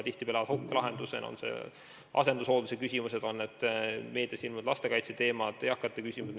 Oleme otsinud lahendusi asendushoolduse küsimustele ja muudele ka meedias tõstatatud lastekaitseteemadele, eakate probleemidele.